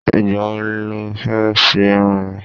Ìgbà wo lọ fẹ́ ṣe irun ẹ?